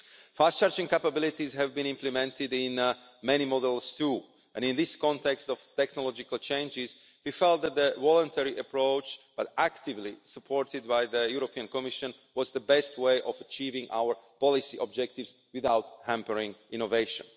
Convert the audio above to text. Fast charging capabilities have been implemented in many models too and, in this context of technological changes, we felt that the voluntary approach, actively supported by the European Commission, was the best way of achieving our policy objectives without hampering innovation.